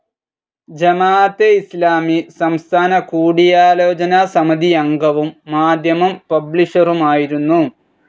ജമാഅത്തെ ഇസ്ലാമി സംസ്ഥാന കൂടിയാലോചന സമിതിയംഗവും, മാധ്യമം പബ്ലിഷറുമായിരുന്നു.